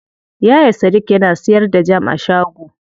Yaya sadik yana siyar da jam a shago.